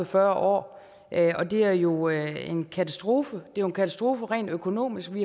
fyrre år og det er jo en katastrofe det er en katastrofe rent økonomisk vi